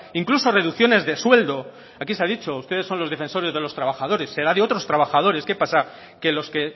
incluso reducciones de sueldo aquí se ha dicho ustedes son los defensores de los trabajadores será de otros trabajadores qué pasa que los que